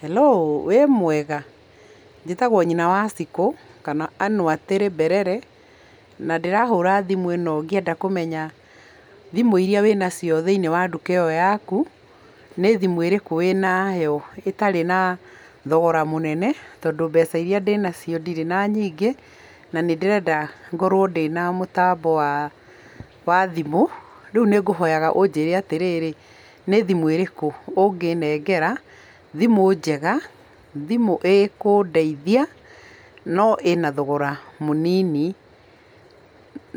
Hallo, wĩ mwega? Njĩtagwo nyina wa Cikũ, kana Ann Watĩrĩ Mberere, na ndĩrahũra thimũ ĩno ngĩenda kũmenya thimũ iria wĩna cio thĩinĩ wa nduka ĩyo yaku. Nĩ thimũ ĩrĩkũ wĩ nayo ĩtarĩ na thogora mũnene tondũ mbeca iria ndĩna nacio ndirĩ na nyingĩ, na nĩ ndĩrenda ngorwo ndĩna mũtambo wa thimũ. Rĩu nĩ ngũhoyaga ũnjĩre atĩ rĩ, nĩ thimũ ĩrĩkũ ũngĩnengera, thimũ njega, thimũ ĩkũndeithia no ĩna thogora mũnini